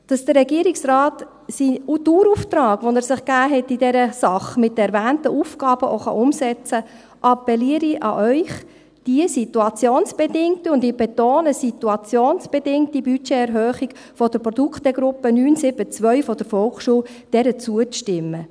Damit der Regierungsrat den Dauerauftrag, den er sich in dieser Sache mit den erwähnten Aufgaben gegeben hat, auch umsetzen kann, appelliere ich an Sie, diese situationsbedingte – ich betone: situationsbedingte – Budgeterhöhung der Produktegruppe 9.7.2 der Volksschule zuzustimmen.